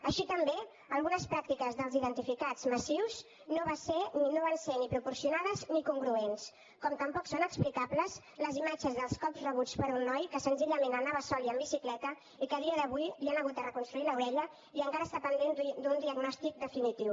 així també algunes pràctiques dels identificats massius no van ser ni proporcionades ni congruents com tampoc són explicables les imatges dels cops rebuts per un noi que senzillament anava sol i amb bicicleta i que a dia d’avui li han hagut de reconstruir l’orella i encara està pendent d’un diagnòstic definitiu